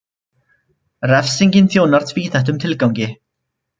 Refsingin þjónar tvíþættum tilgangi.